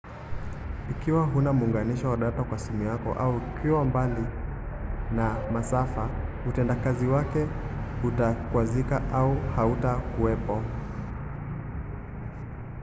ikiwa huna muunganisho wa data kwa simu yako au ikiwa mbali na masafa utendakazi wake utakwazika au hautakuwepo